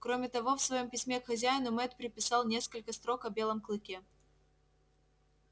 кроме того в своём письме к хозяину мэтт приписал несколько строк о белом клыке